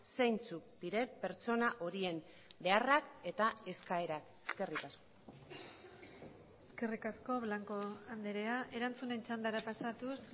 zeintzuk diren pertsona horien beharrak eta eskaerak eskerrik asko eskerrik asko blanco andrea erantzunen txandara pasatuz